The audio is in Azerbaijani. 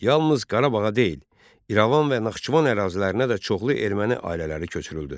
Yalnız Qarabağa deyil, İrəvan və Naxçıvan ərazilərinə də çoxlu erməni ailələri köçürüldü.